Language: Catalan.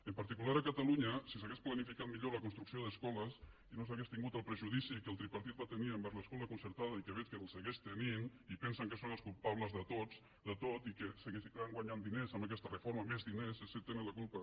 en particular a catalunya si s’hagués planificat millor la construcció d’escoles i no s’hagués tingut el prejudici que el tripartit va tenir envers l’escola concertada i que veig que el continua tenint i pensen que són els culpables de tot i que continuaran guanyant diners amb aquesta reforma més diners ells en tenen la culpa